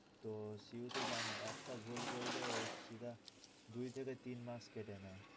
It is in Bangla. তো CU তো জানো একটা ভুল করলেও সিধা দুই থেকে তিন marks কেটে নেয়।